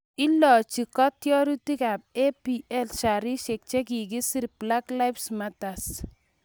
Iloji kitiorikab EPL sharishek che kikisir 'Black Lives Matter'